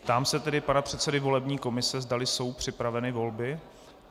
Ptám se tedy pana předsedy volební komise, zdali jsou připraveny volby.